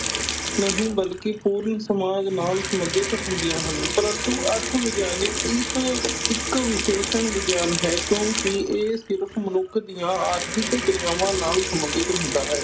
ਨਹੀਂ ਬਲਕਿ ਪੂਰਨ ਸਮਾਜ ਨਾਲ ਸੰਬੰਧਿਤ ਹੁੰਦੀਆਂ ਹਨ, ਪ੍ਰੰਤੂ ਅਰਥ ਵਿਗਿਆਨੀ ਇਸ ਇੱਕ ਵਿਸ਼ੇਸ਼ਣ ਵਿਗਿਆਨ ਹੈ ਕਿਉਂਕਿ ਇਹ ਸਿਰਫ਼ ਮਨੁੱਖ ਦੀਆਂ ਆਰਥਿਕ ਕਰਿਆਵਾਂ ਨਾਲ ਸੰਬੰਧਿਤ ਹੁੰਦਾ ਹੈ।